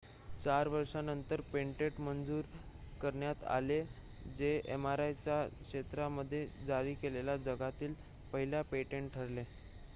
चार वर्षांनंतर पेटंट मंजूर करण्यात आले जे mri च्या क्षेत्रामध्ये जारी केलेले जगातील पहिले पेटंट ठरले